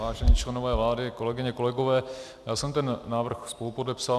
Vážení členové vlády, kolegyně, kolegové, já jsem ten návrh spolupodepsal.